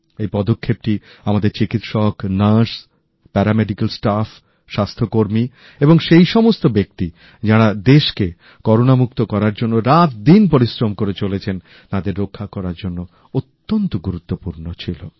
এই পদক্ষেপটি আমাদের চিকিত্সক নার্স প্যারামেডিক্যাল স্টাফস্বাস্থ্যকর্মী এবং সেই সমস্ত ব্যক্তি যারা দেশকে করোনামুক্ত করার জন্য রাতদিন পরিশ্রম করে চলেছেন তাদের রক্ষা করার জন্য অত্যন্ত গুরুত্বপূর্ণ ছিল